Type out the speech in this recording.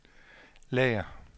lager